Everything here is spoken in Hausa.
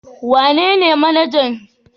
Wanene manajan gidan ci abinci ibys